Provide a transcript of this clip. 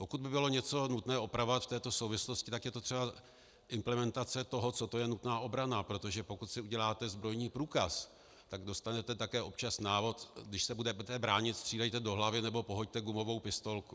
Pokud by bylo něco nutné opravovat v této souvislosti, tak je to třeba implementace toho, co to je nutná obrana, protože pokud si uděláte zbrojní průkaz, tak dostanete také občas návod, když se budete bránit, střílejte do hlavy, nebo pohoďte gumovou pistolku.